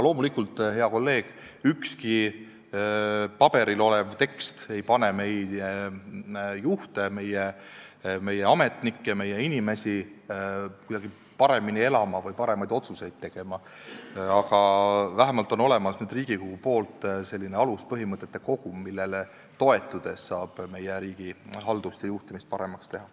Loomulikult, hea kolleeg, ükski paberil olev tekst ei pane meie juhte, meie ametnikke, meie inimesi paremini elama või paremaid otsuseid tegema, aga vähemalt on Riigikogul nüüd olemas selline aluspõhimõtete kogum, millele toetudes saab meie riigi haldust ja juhtimist paremaks teha.